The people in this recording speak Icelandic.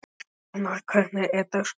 Dónald, hvernig er dagskráin?